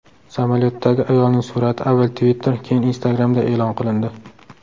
Samolyotdagi ayolning surati avval Twitter, keyin Instagram’da e’lon qilindi.